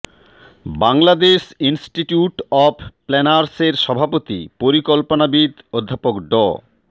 Bangladesh institute of planners এর সভাপতি পরিকল্পনাবিদ অধ্যাপক ড